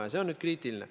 Ja see on nüüd kriitiline.